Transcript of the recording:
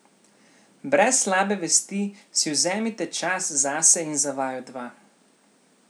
Brez slabe vesti si vzemite čas zase in za vaju dva.